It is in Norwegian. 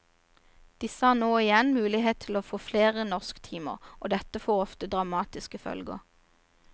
Disse har nå ingen mulighet til å få flere norsktimer, og dette får ofte dramatiske følger.